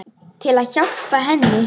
Til að hjálpa henni.